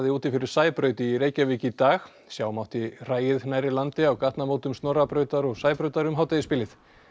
úti fyrir Sæbraut í Reykjavík í dag sjá mátti hræið nærri landi á gatnamótum Snorrabrautar og Sæbrautar um hádegisbilið